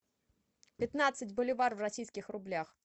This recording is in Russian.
пятнадцать боливар в российских рублях